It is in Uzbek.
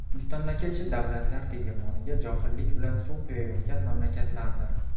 mustamlakachi davlatlar tegirmoniga johillik bilan suv quyayotgan mamlakatlardir.